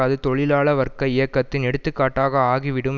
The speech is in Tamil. அது தொழிலாள வர்க்க இயக்கத்தின் எடுத்துக்காட்டாக ஆகிவிடும்